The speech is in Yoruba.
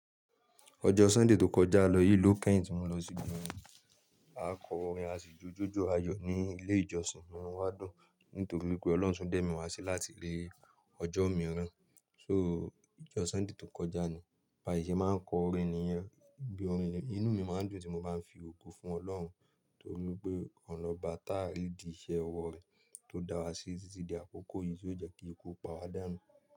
Ọjọ́ Súnday tó kọja lọ yìí ló kẹ́yìn tí mo lọ sí ibi ọrin. A kọ orin àṣìjojójó ayò ní ilé ìjọsìn, inu wá dùn nítorí wipé Ọlọ́run tun dẹ̀ mi wá sí láti ri ọjọ́ omiirán. Sọ, ijọ Súnday tó kọja ni, bàṣị́ ṣe máa ń kọ orin níyẹn, bi orin inú mi máa ń dùn ti mo bá ń fi ògo fún Ọlọ́run tó ri wi pé ọ̀un loba tá a rìdí iṣẹ owọ re, tó da wá sí titi di àkókò yìí tí ó jẹ́ kí ikú o pa wa dánu.